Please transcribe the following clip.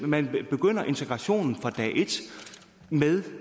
man begynder integrationen fra dag et med